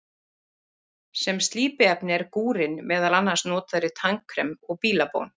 Sem slípiefni er gúrinn meðal annars notaður í tannkrem og í bílabón.